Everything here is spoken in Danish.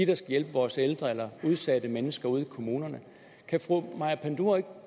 der skal hjælpe vores ældre eller udsatte mennesker ude i kommunerne kan fru maja panduro ikke